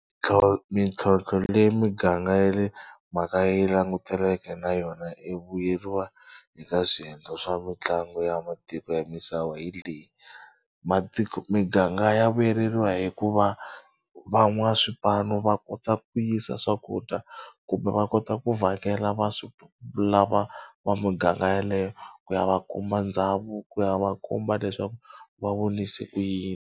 mintlhotlho leyi miganga ya le makaya yi langutaneke na yona vuyeriwa eka swiendlo swa mitlangu ya matiko ya misava hi leyi matiko miganga ya vuyeriwa hikuva van'waswipanu va kota ku yisa swakudya kumbe va kota ku vhakela va swi lava va muganga yaleyo ku ya va kuma ndhavuko ku ya va komba leswaku va vonise ku yini.